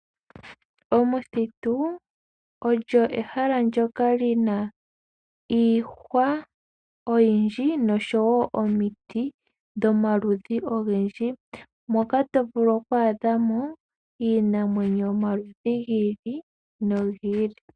Omuthitu olyo ehala ndyoka li na iihwa oyindji noshowo omiti dhomaludhi ogendji, moka to vulu oku adha mo iinamwenyo yomaludhi gi ili nogi ili.